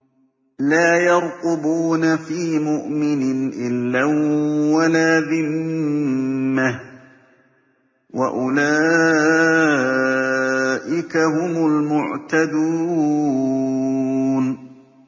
لَا يَرْقُبُونَ فِي مُؤْمِنٍ إِلًّا وَلَا ذِمَّةً ۚ وَأُولَٰئِكَ هُمُ الْمُعْتَدُونَ